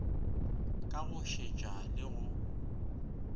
ka go šetša le go